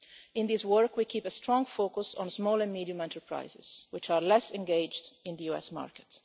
In this work we keep a strong focus on small and medium-sized enterprises which are less engaged in the US market.